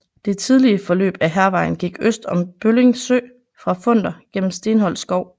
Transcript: Det tidlige forløb af Hærvejen gik øst om Bølling Sø fra Funder gennem Stenholt Skov